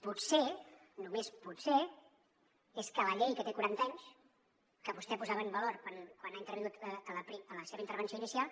potser només potser és que la llei que té quaranta anys que vostè posava en valor quan ha intervingut en la seva intervenció inicial